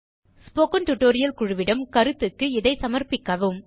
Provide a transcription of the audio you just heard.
spoken tutorial குழுவிடம் கருத்துக்கு இதைச் சமர்ப்பிக்கவும்